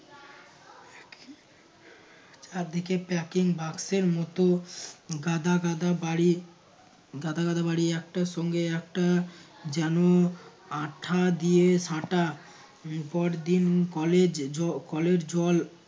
চার দিকে packing বাক্সের মতো গাদা গাদা বাড়ি গাদা গাদা বাড়ি একটার সঙ্গে একটা যেন আঠা দিয়ে সাঁটা পরদিন দিন college কলের জল